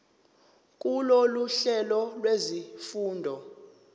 kulolu hlelo lwezifundo